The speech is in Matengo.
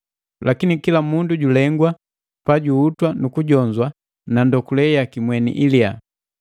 Lakini kila mundu julengwa pajuhutwa nu kujonzwa na ndokule yaki mweni iliya.